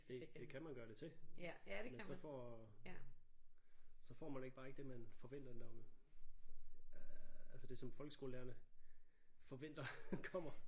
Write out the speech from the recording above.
Det det kan man gøre det til men så får så får man ikke bare ikke det man forventer når øh altså det som folkeskolelærerne forventer kommer